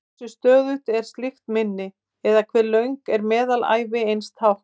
Hversu stöðugt er slíkt minni, eða hve löng er meðalævi eins tákns?